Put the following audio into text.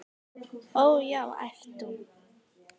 Ó, já, æpti hún.